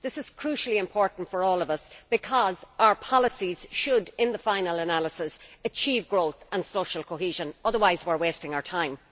This is crucially important for all of us because our policies should in the final analysis achieve growth and social cohesion, otherwise we are wasting our time.